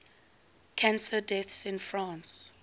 cancer deaths in france